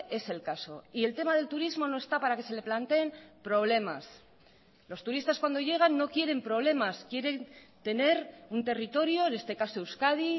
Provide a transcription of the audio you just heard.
es el caso y el tema del turismo no está para que se le planteen problemas los turistas cuando llegan no quieren problemas quieren tener un territorio en este caso euskadi